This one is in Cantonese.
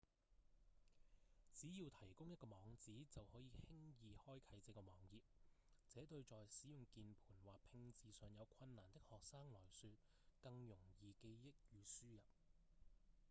只要提供一個網址就可以輕易開啟這個網頁這對在使用鍵盤或拼字上有困難的學生來說更容易記憶與輸入